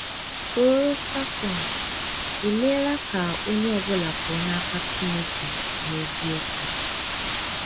Ṣụ̀rọ̀ Satọn emeela ka onye ọ bụla pụọ n’aka Chineke eziokwu?